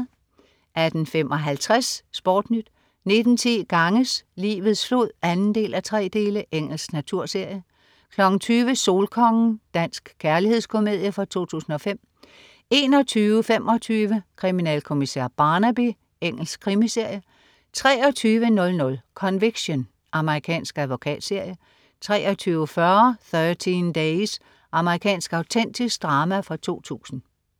18.55 SportNyt 19.10 Ganges, livets flod 2:3. Engelsk naturserie 20.00 Solkongen. Dansk kærlighedskomedie fra 2005 21.25 Kriminalkommissær Barnaby. Engelsk krimiserie 23.00 Conviction. Amerikansk advokatserie 23.40 Thirteen Days. Amerikansk autentisk drama fra 2000